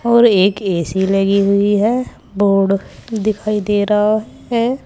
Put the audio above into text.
और एक ए_सी लगी हुई है बोर्ड दिखाई दे रहा है।